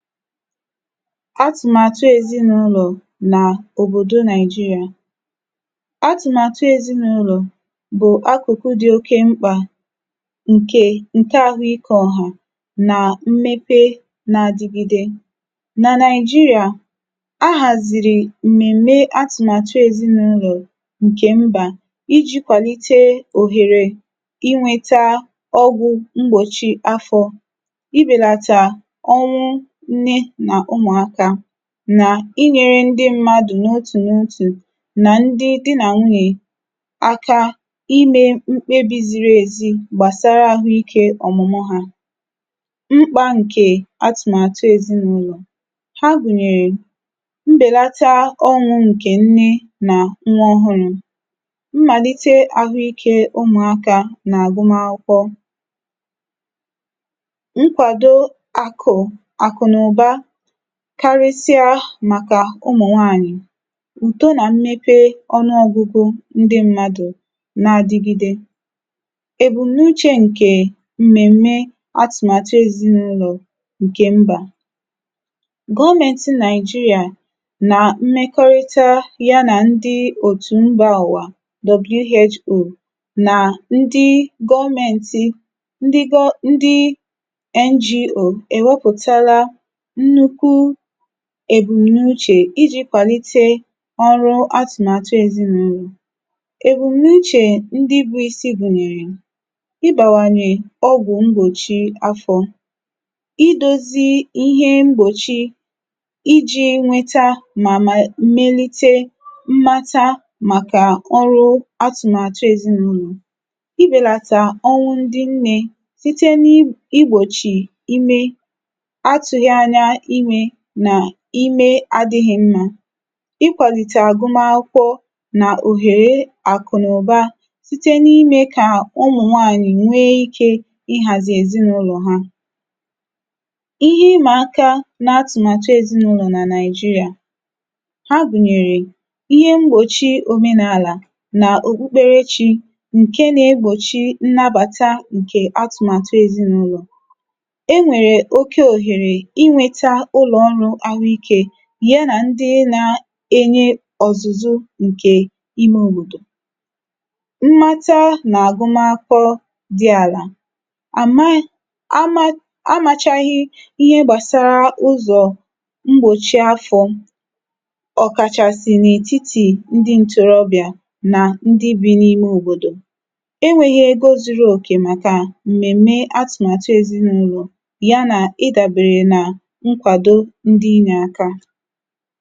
atụ̀màtụ ezịnụlọ̀ nà òbòdo Naị̀jịrị̀à atụ̀màtụ ezịnụlọ̀ bụ̀ akụ̀kụ dị oke mkpà ǹkè ǹke ahụ ikē ọ̀hụ̀, nà mmepe na adigide. nà Nàị̀jịrị̀à, a hàzìrì m̀mèm̀me atụ̀màtụ ezịnụlọ̀ ǹkẹ̀ mbà, ijī kwàlite òhèrè ịnwẹta ọgwụ̄ mgbòchi afọ̄, ibèlàtàọnwụ nne nà ụmụ̀akā, nà ịnyẹrẹ ndị mmadù n’otù n’otù, nà ndị dị nà nwunyè akā ịme mkpebī ziri èzi gbàsara ahụ ikē ọ̀mụ̀mụ ha. mkpā ǹkè atụ̀màtụ èzịnụlọ̀. ha gùnyèrè, mbèlata ọnwụ̄ ǹkè nne nà nwa ọhụrụ̄, mmàlite ahụ ikē ụmụ̀akā nà àgụma akwụkwọ, nkwàdo àkụ̀, àkụnụ̀ba, karịsịa màkà ụmụ̀ nwanyị̀, ùto nà mmepe ọnụọgụgụ ndị mmadù na adigide, èbùm̀nuchē ǹkè m̀mèm̀me atụ̀màtụ ezịnụlọ̀ ǹkẹ̀ mbà. gọmẹǹtị Naị̀jịrị̀à nà mmẹkọrịta ya nà ndị òtù mbā ụ̀wà WHO, nà ndị gọmẹ̀ntị ndị gọ ndị NGO, e wẹpụ̀tala nnukwu èbùmnuchè, ijī kwàlite ọrụ atụ̀màtụ ezịnụlọ̀. èbùm̀nuchè ndị bu isi bùnyèrè, I bàwànyè ọgwụ̀ mgbòchi afọ̄, I dozi ịhẹ mgbòchi, ijī nwẹta mà mà melite mmata màkà ọrụ atụ̀màtụ ezịnụlọ̀. I bèlàtà ọnwụ ndị nnē, site n’igbòchì ime, atụghị anya imē, nà ime adịghị mmā. I kwàlitè àgụmakwụkwọ nà òhère àkụ̀nụ̀ba, site n’imē kà ụmụnwanyị̀ nwe ikē ị hàzì èzịnụlọ̀ ha. ịhẹ ịmà aka na atụ̀màtụ ezịnụlọ̀ nà Naị̀jịrị̀à, ha gùnyèrè, ihe mgbòchi omenàlà nà òkpukpere chī, ǹke na egbòchi nnabàta ǹkè atụ̀màtụ ezịnụlọ̀. e nwèrè oke òhèrè ị nwẹta ụlọ̀ ọrụ̄ ahụ ikē, y anà ndị nae nye ọ̀zụzụ ǹkè ime òbòdò. mmata nà àgụmakwụkwọ dị àlà, ama amāchaghị ihe gbàsara ụzọ̀ mgbòchi afọ̄, ọ̀kàchàsị̀ n’ètitì ndị ntorobị̀à nà ndị bi n’ime òbòdò, e nweghi ego zuru òkè màkà mmẹ̀m̀mẹ atụ̀màrụ ezịnụlọ̀, ya nà ịdàbèrè nà nkwàdo ndị inyē aka.